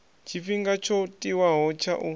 tshifhinga tsho tiwaho tsha u